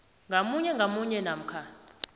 ngamunye ngamunye namkha